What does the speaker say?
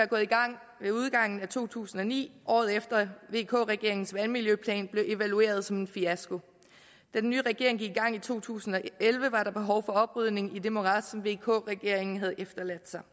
gået i gang ved udgangen af to tusind og ni året efter vk regeringens vandmiljøplan blev evalueret som en fiasko da den nye regering gik i gang i to tusind og elleve var der behov for oprydning i det morads som vk regeringen havde efterladt sig